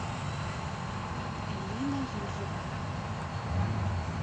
элина юрьевна